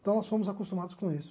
Então, nós fomos acostumados com isso.